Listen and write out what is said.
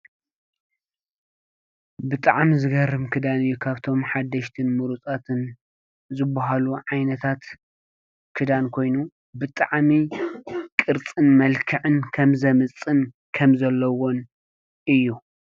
ብጣዕሚ ዝገርም ክዳን እዩ፤ ካብቶም ሓደሽትን ሙሩፃትን ዝበሃሉ ዓይነታት ክዳን ኾይኑ ብጣዕሚ ቅርፅን መልክዕን ከምዘምፅን ከምዘለዎን እዩ።